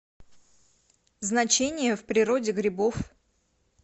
значение в природе грибов